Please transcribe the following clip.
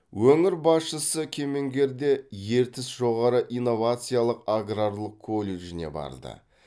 өңір басшысы кемеңгерде ертіс жоғары инновациялық аграрлық колледжіне барды